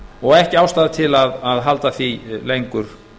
og ekki ástæða til að halda því lengur